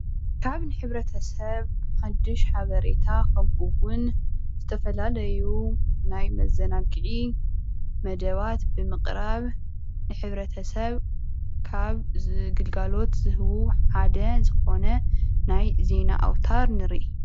ናብ ሕብረተሰብ ሓዱሽ ሓበሬታ ከምኡ እውን ዝተፈላለዩ ናይ መዘናጊዒ መደባት ብምቅራብ ንሕ/ሰብ ካብ ግልጋሎት ዝህቡ ሓደ ዝኾነ ናይ ዜና እውታር ንርኢ፡፡